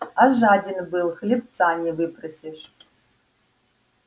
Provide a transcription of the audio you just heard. а жаден был хлебца не выпросишь